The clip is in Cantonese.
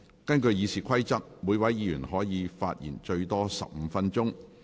根據《議事規則》，每位議員可發言最多15分鐘。